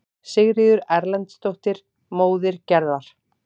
Sigríður Erlendsdóttir, móðir Gerðar.